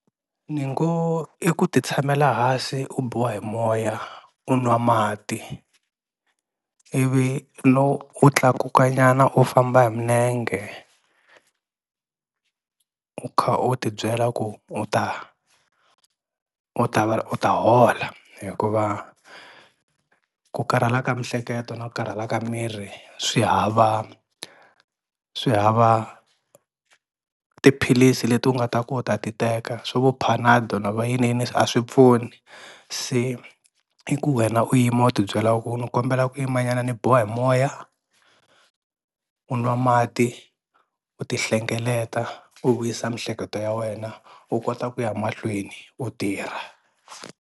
Ni ngo i ku ti tshamela hansi u biwa hi moya u nwa mati, ivi lowu wu tlakuka nyana u famba hi minenge u kha u ti byela ku u ta u ta va u ta hola hikuva ku karhala ka mihleketo na ku karhala ka miri swi hava swi hava tiphilisi leti u nga ta ku u ta ti teka swa vo Panado na va yiniyini a swi pfuni, se i ku wena u yima u tibyela ku ni kombela ku yima nyana ni biwa mo moya, u nwa mati, u ti hlengeleta, u vuyisa mihleketo ya wena, u kota ku ya mahlweni u tirha.